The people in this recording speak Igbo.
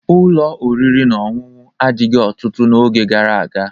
Ụlọ oriri na ọṅụṅụ adịghị ọtụtụ n'oge gara aga